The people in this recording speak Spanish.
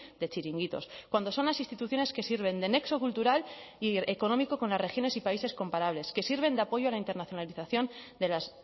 de chiringuitos cuando son las instituciones que sirven de nexo cultural y económico con las regiones y países comparables que sirven de apoyo a la internacionalización de las